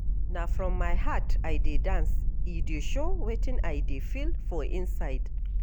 Na from my heart I dey dance, e dey show wetin I dey feel for inside.